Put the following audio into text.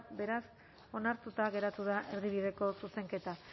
beraz onartuta geratu da erdibideko zuzenketa